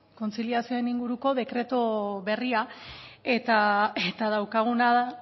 kontziliazioei inguruko dekretu berria eta daukaguna da